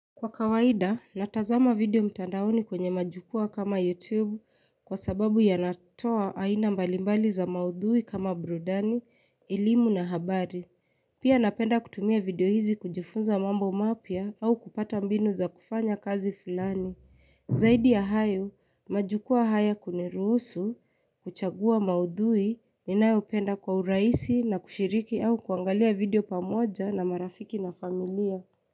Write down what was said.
Kwa kawaida, natazama video mtandaoni kwenye majukwaa kama YouTube kwa sababu yanatoa aina mbalimbali za maudhui kama burudani, elimu na habari. Pia napenda kutumia video hizi kujufunza mambo mapya au kupata mbinu za kufanya kazi fulani. Zaidi ya hayo, majukwaa haya kuniruhusu, kuchagua maudhui, ninayopenda kwa urahisi na kushiriki au kuangalia video pamoja na marafiki na familia.